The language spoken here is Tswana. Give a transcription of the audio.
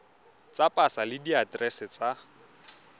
tsa pasa le diaterese tsa